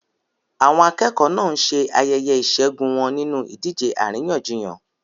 Àwọn akẹ́kọ̀ọ́ náà ń ṣe ayẹyẹ ìṣẹ́gun wọn nínú ìdíje àríyànjiyàn.